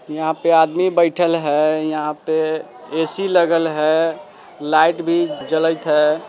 यहा पे आदमी बइठल है यहाँ पे ऐ.सी. लगल है। लाईट भी जलइत है --